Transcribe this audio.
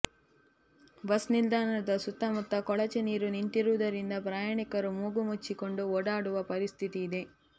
bus ನಿಲ್ದಾಣದ ಸುತ್ತಮುತ್ತ ಕೊಳಚೆ ನೀರು ನಿಂತಿರುವುದರಿಂದ ಪ್ರಯಾಣಿಕರು ಮೂಗು ಮುಚ್ಚಿಕೊಂಡು ಓಡಾಡುವ ಪರಿಸ್ಥಿತಿ ಇದೆ